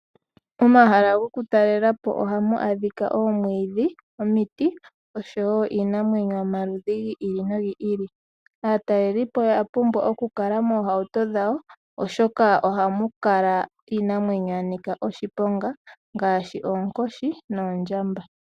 Momahala gokutalalepo ohamu adhika oomwiidhi, omiti, oshowo iinamwenyo yomaludhi gi ili nogi ili. Aatalelipo oya pumbwa okukala moohauto dhawo, oshoka ohamu kala iinamwenyo yanika oshiponga, ngaashi oonkoshi, noondjamba.